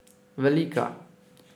Velika!